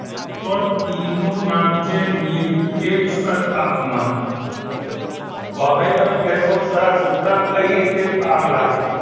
તો ટીનુ નામ છે નિરપેક્ષ તાપમાન તો હવે તમે કહેશો કે સર આ સૂત્ર કઈ રીતે કામ લાગે